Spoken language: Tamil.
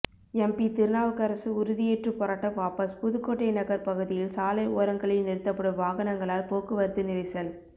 எம்பி திருநாவுக்கரசர் உறுதி ஏற்று போராட்டம் வாபஸ் புதுக்கோட்டை நகர் பகுதியில் சாலை ஓரங்களில் நிறுத்தப்படும் வாகனங்களால் போக்குவரத்து நெரிசல்